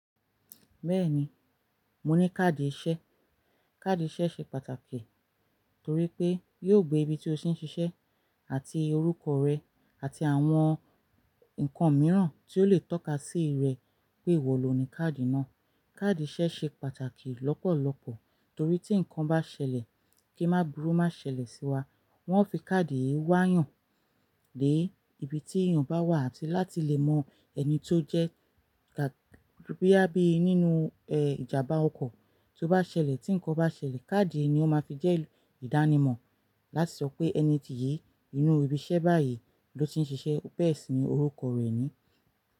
Bẹ́ẹ̀ni, mo ní káàdì iṣẹ́. Kaadi iṣẹ́ ṣe pàtàkì torí pé yóò gbé ibi tí o sì ń ṣiṣẹ́ àti orúkọ rẹ àti àwọn nǹkan mìíràn tí ó lè tọ́ka sí rẹ pé ìwọ lò ní káàdì náà. Kaadi iṣẹ́ ṣe pàtàkì lọ́pọ̀lọpọ̀ torí tí nǹkan bá ṣẹlẹ̀ kí máa burú má ṣẹlẹ̀ sí wa, wọ́n ó fi káàdì yìí wá yàn lé ibi tí èèyàn bá wà láti lè mọ ẹni tó jẹ́ bóyá bíi nínú ẹ ìjàmbá ọkọ̀ tó bá ṣẹlẹ̀, tí nǹkan bá ṣẹlẹ̀ káàdì yìí ni ó máa fi jẹ́ ìdánimọ̀ láti sọ pé ẹni yìí nínú ibi iṣẹ́ báyìí ló ti ń ṣiṣẹ́, bẹ́ẹ̀ sì ni orúkọ rẹ̀ ni.